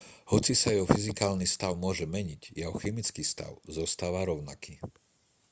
hoci sa jeho fyzikálny stav môže meniť jeho chemický stav zostáva rovnaký